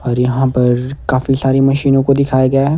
और यहां पर काफी सारी मशीनों को दिखाया गया है।